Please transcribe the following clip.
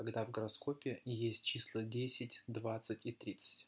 когда в гороскопе есть числа десять двадцать и тридцать